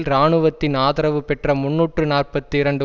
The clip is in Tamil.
இராணுவத்தின் ஆதரவு பெற்ற முன்னூற்று நாற்பத்தி இரண்டு